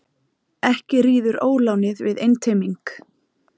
Ekki ríður ólánið við einteyming.